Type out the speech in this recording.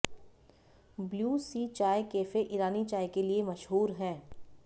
blue Sea चाय cafe Irani चाय के लिए मशहूर है